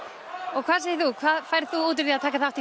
og hvað segir þú hvað færð þú út úr því að taka þátt í